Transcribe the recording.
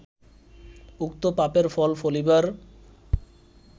উক্ত পাপের ফল ফলিবার